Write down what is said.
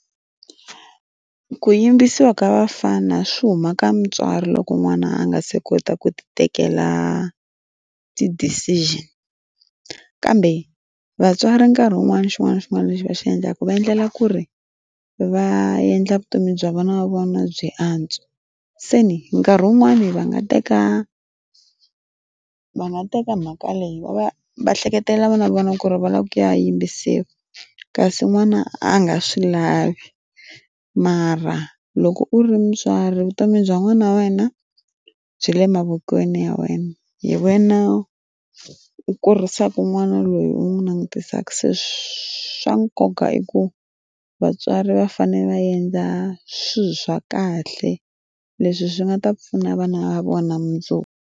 Ku yimbisiwa ka vafana swi huma ka mutswari loko n'wana a nga se kota ku ti tekela ti decision kambe vatswari nkarhi wun'wana xin'wana na xin'wana lexi va xi endlaka va endlela ku ri va endla vutomi bya vana va vona byi antswa se ni nkarhi wun'wani va nga teka va nga teka mhaka leyi va va va ehleketelela vana va vona ku ri va lava ku ya yimba se kasi n'wana a nga swi lavi mara loko u ri mutswari vutomi bya n'wana wa wena byi le mavokweni ya wena hi wena u kurisaka n'wana loyi u n'wi langutisaka se swa nkoka i ku vatswari va fanele va endla xihi swa kahle leswi swi nga ta pfuna vana va vona mundzuku.